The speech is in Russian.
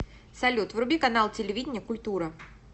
салют вруби канал телевидения культура